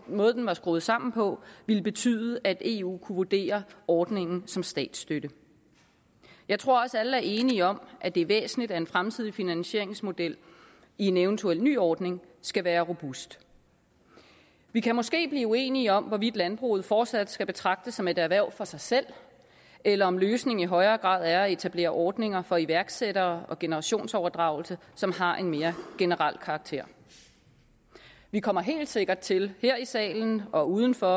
måde den var skruet sammen på ville betyde at eu kunne vurdere ordningen som statsstøtte jeg tror også at alle er enige om at det er væsentligt at en fremtidig finansieringsmodel i en eventuel ny ordning skal være robust vi kan måske blive uenige om hvorvidt landbruget fortsat skal betragtes som et erhverv og for sig selv eller om løsningen i højere grad er at etablere ordninger for iværksættere og for generationsoverdragelse som har en mere generel karakter vi kommer helt sikkert til her i salen og uden for